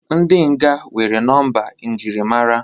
ndị mkpọrọ nwere nọmba njirimara